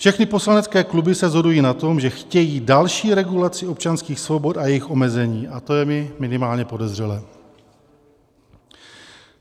Všechny poslanecké kluby se shodují na tom, že chtějí další regulaci občanských svobod a jejich omezení, a to je mi minimálně podezřelé.